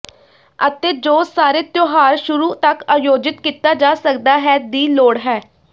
ਅਤੇ ਜੋ ਸਾਰੇ ਤਿਉਹਾਰ ਸ਼ੁਰੂ ਤੱਕ ਆਯੋਜਿਤ ਕੀਤਾ ਜਾ ਸਕਦਾ ਹੈ ਦੀ ਲੋੜ ਹੈ